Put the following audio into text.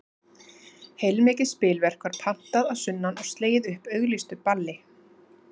Heilmikið spilverk var pantað að sunnan og slegið upp auglýstu balli.